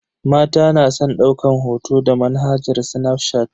Mata na san daukan hoto da manhajar snafshat.